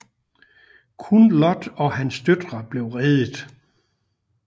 Kun Lot og hans døtre blev reddet